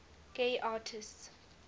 gay artists